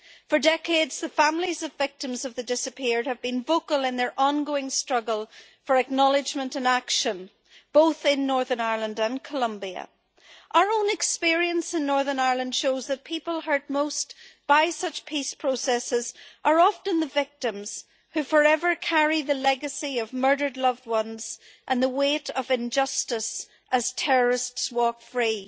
For decades, the families of victims of the disappeared have been vocal in their ongoing struggle for acknowledgment and action, both in Northern Ireland and Colombia. Our own experience in Northern Ireland shows that people hurt most by such peace processes are often the victims who forever carry the legacy of murdered loved ones and the weight of injustice as terrorists walk free.